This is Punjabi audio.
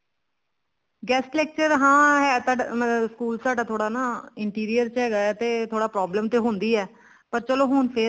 guest lecture ਹਾਂ ਹੈ ਤਾਂ ਸਕੂਲ ਸਾਡਾ ਥੋੜਾ ਨਾ interior ਚ ਹੈਗਾ ਥੋੜੀ problem ਤਾਂ ਹੁੰਦੀ ਹੈ ਪਰ ਚਲੋ ਹੁਣ ਤੇ